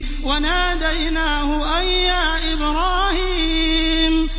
وَنَادَيْنَاهُ أَن يَا إِبْرَاهِيمُ